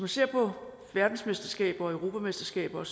ser på verdensmesterskaber og europamesterskaber og